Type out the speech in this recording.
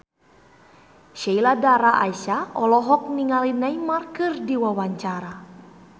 Sheila Dara Aisha olohok ningali Neymar keur diwawancara